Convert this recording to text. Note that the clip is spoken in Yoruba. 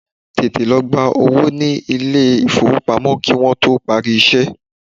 Tètè lọ gba owó ní ilé ìfowópamọ́ kí Wọ́n tó parí iṣẹ́!